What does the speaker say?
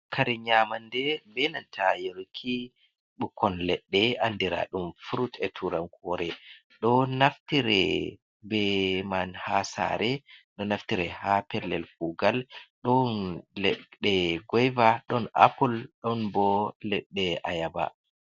Kare nyamande benanta yorki ɓukkon leɗɗe andira ɗum frut e turankore, ɗo naftire be man ha sare, ɗo naftire ha pellel kugal, ɗon leɗɗe goyva, ɗon apple, ɗon bo ledɗe a yaba.